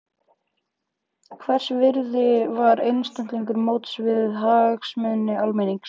Hvers virði var einstaklingur móts við hagsmuni almennings?